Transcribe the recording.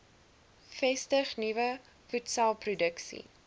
vestig nuwe voedselproduksie